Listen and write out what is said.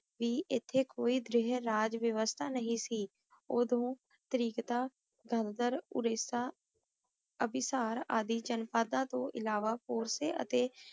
ਏਥੇ ਕੋਈ ਦ੍ਰੇਹ ਰਜ ਵਿਵਸਥਾ ਨਹੀ ਸੀ ਓਦੋਂ ਤਾਰਿਕਤਾ ਦਰਦਰ ਓੜੀਸਾ ਅਨਿਸਾਰ ਆਦਿ ਚਾਨ ਭਾਗਲਾ ਤੋਂ ਇਲਾਵਾ ਪੋਰ੍ਸਾਯ ਅਤੀ